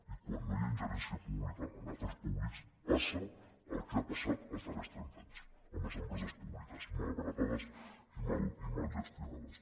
i quan no hi ha ingerència pública en afers públics passa el que ha passat els darrers trenta anys amb les empreses públiques malbaratades i mal gestionades